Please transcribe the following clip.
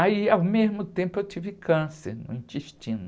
Aí, ao mesmo tempo, eu tive câncer no intestino.